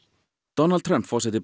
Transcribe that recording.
Donald Trump forseti